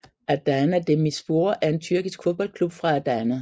Adana Demirspor er en tyrkisk fodboldklub fra Adana